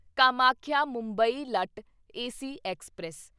Kamakhya Mumbai LTT AC express